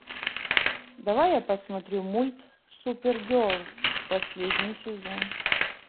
давай я посмотрю мульт супергерл последний сезон